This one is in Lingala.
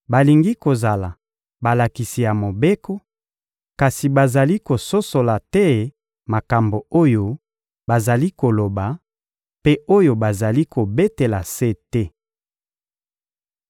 balingi kozala balakisi ya Mobeko, kasi bazali kososola te makambo oyo bazali koloba mpe oyo bazali kobetela sete.